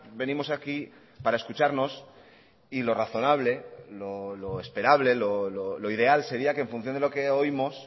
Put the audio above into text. venimos aquí para escucharnos y lo razonable lo esperable lo ideal sería que en función de lo que oímos